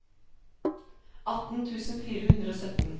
atten tusen fire hundre og sytten